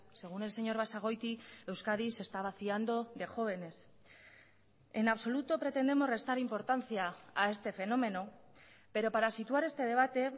según el señor basagoiti euskadi se está vaciando de jóvenes en absoluto pretendemos restar importancia a este fenómeno pero para situar este debate